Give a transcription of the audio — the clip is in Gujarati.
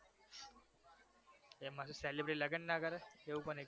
એમાં શું celebrity લગન ના કરે? એવુ કોને કીધુ?